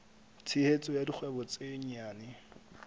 tshehetso ya dikgwebo tse nyenyane